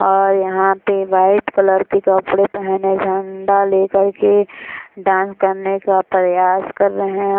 और यहाँ पर वाइट कलर के कपड़े पहने झंडा ले कर के डांस करने का प्रयास कर रहे हैं।